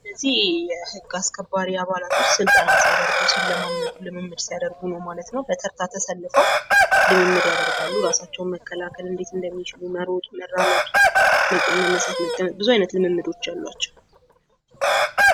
እነዚህ የህግ አስከባሪ አባላቶች ስልጠና ሲያደርጉ ልምምድ ሲያደርጉ ነው ማለት ነው ፤ በተርታ ተሰልፈው ልምምድ ያደርጋሉ ፤ ራሳቸውን እንዴት መከላከል እንደሚችሉ፣ መሮጥ፣ መራመድ፣ መነሳት፣ መቀመጥ፣ ብዙ አይነት ልምምዶች አሉዋቸው።